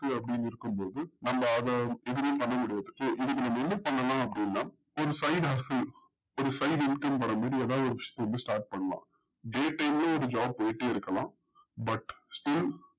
க்கு அப்டின்னு இருக்கும்போது நம்ப அத எதுமே பண்ணமுடியாது so இதுக்கு நம்ம என்ன பண்ணனும் அப்டின்னா ஒரு five lakh ஒரு five lakh income வரும்போது ஏதாது work start பண்ணனும் day time லயும் ஒரு job போயிட்டு இருக்கலாம் but